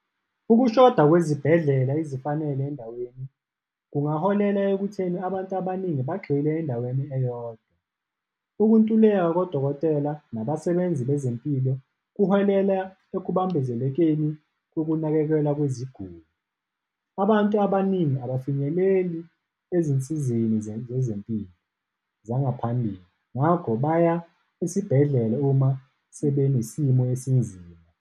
Ukushoda kwezibhedlela ezifanele endaweni kungaholela ekutheni abantu abaningi bagxile endaweni eyodwa. Ukuntuleka kodokotela nabasebenzi bezempilo kuholela ekubambezelekeni kokunakekelwa kweziguli. Abantu abaningi abafinyeleli ezinsizeni zezempilo zangaphambili. Ngakho, baya esibhedlele uma sebenesimo esinzima.